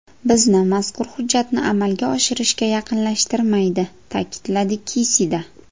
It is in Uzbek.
Bizni mazkur hujjatni amalga oshirishga yaqinlashtirmaydi”, ta’kidladi Kisida.